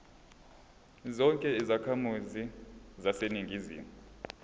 zonke izakhamizi zaseningizimu